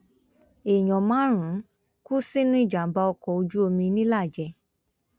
èèyàn márùnún kú sínú ìjàmbá ọkọ ojú omi ńìlàjẹ